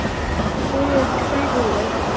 Fyrir hverju?